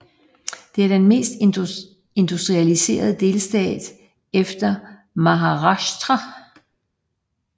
Det er den mest industrialiserede delstat efter Maharashtra